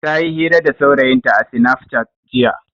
Ta yi hira da saurayinta a sinaf cat jiya.